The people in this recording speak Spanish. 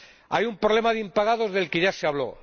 Hay un problema de impagados del que ya se habló.